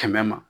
Kɛmɛ ma